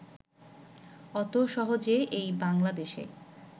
অত সহজে এই বাংলাদেশে